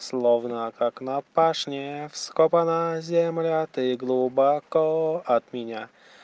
словно как на пашне вскопано земля ты глубоко от меня